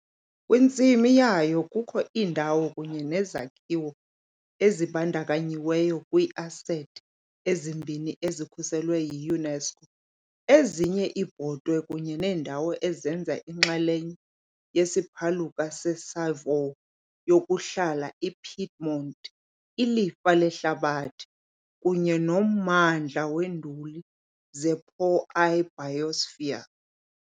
Kwintsimi yayo kukho iindawo kunye nezakhiwo ezibandakanyiweyo kwii-asethi ezimbini ezikhuselwe yi-UNESCO - ezinye iibhotwe kunye neendawo ezenza inxalenye yesiphaluka seSavoy yokuhlala ePiedmont, ilifa lehlabathi, kunye nommandla weenduli zePo i-biosphere.